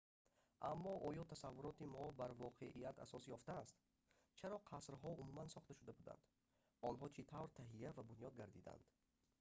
аммо оё тасаввуроти мо бар воқеият асос ёфтааст чаро қасрҳо умуман сохта шуда буданд онҳо чӣ тавр таҳия ва бунёд гардиданд